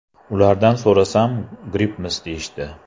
Ulardan so‘rasam grippmiz deyishdi.